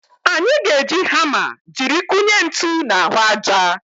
Anyị ga-eji hama jiri kụnye ntu n'ahụ aja.